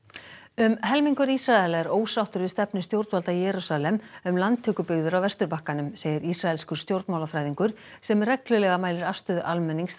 um helmingur Ísraela er ósáttur við stefnu stjórnvalda í Jerúsalem um landtökubyggðir á Vesturbakkanum segir ísraelskur stjórnmálafræðingur sem reglulega mælir afstöðu almennings